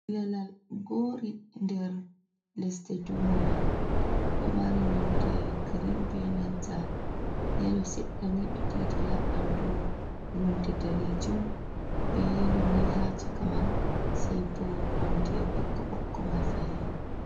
"Ilalal" gori nder lesɗe duniya ɗo mari nonde grim benanta yelo seddani ɓe didi ha bandu nonde danejum be yelo ni ha chaka man sei bo nonde ɓokka ɓokko mai fahin.